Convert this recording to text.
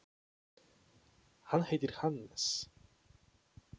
Hann heitir Hannes.